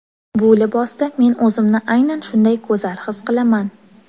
Bu libosda men o‘zimni aynan shunday go‘zal his qilaman.